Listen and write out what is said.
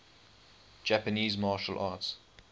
japanese martial arts